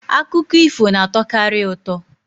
Akụkọ ifo na-atọkarị ụtọ.